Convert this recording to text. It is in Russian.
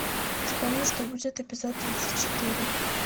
вспомни что будет эпизод тридцать четыре